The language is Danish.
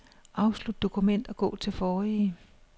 Afslut dokument og gå til forrige.